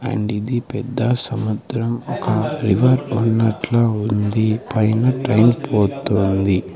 And ఇది పెద్ద సముద్రం ఒక రివర్ ఉన్నట్లు ఉంది పైన ట్రైన్ పోతుంది.